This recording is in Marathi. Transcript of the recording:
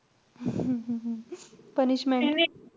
punishment.